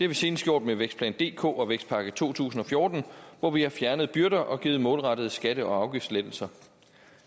vi senest gjort med vækstplan dk og vækstpakke to tusind og fjorten hvor vi har fjernet byrder og givet målrettede skatte og afgiftslettelser